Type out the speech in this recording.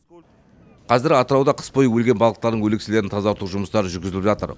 қазір атырауда қыс бойы өлген балықтардың өлекселерін тазарту жұмыстары жүргізіліп жатыр